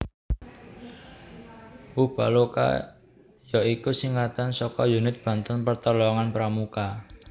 Ubaloka ya iku singkatan saka Unit Bantuan Pertolongan Pramuka